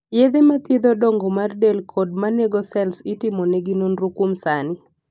yedhe ma thiedho dongo mar del kod manego sels itimo negi nonro kuom sani